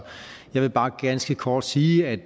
jeg vil bare ganske kort sige at